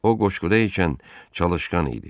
O qoşquda ikən çalışqan idi.